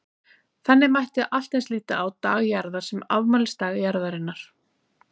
Þannig mætti allt eins líta á Dag Jarðar sem afmælisdag Jarðarinnar.